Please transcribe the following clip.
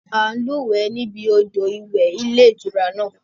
À ń lúwẹ̀ ẹ́ níbi odò ìwẹ̀ ilé-ìtura náà